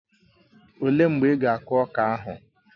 Ọ léé mgbe ị ga akụ ọka ahụ?